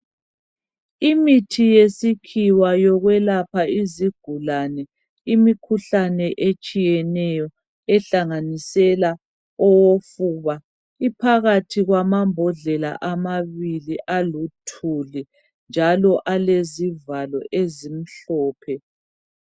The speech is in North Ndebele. Imithi yesikhiwa yokwelapha izigulane imikhuhlane etshiyeneyo ehlanganisela ofuba. Iphakathi kwamambodlela amabili aluthuli njalo alezivalo ezimhlophe.